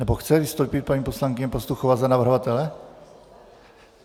Nebo chce vystoupit paní poslankyně Pastuchová za navrhovatele?